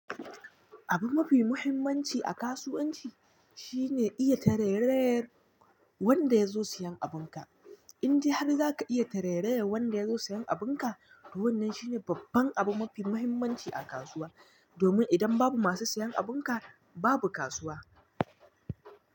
Abu mafi muhimmanci a kasuwanci, shi ne iya tarerayar, wanda ya zo siyan abunka. In dai har za ka iya tarerayar wanda ya zo siyan abunka, to wannan shine babban abu mafi muhimmanci a kasuwa. Domin idan babu masu siyan abunka, babu kasuwa.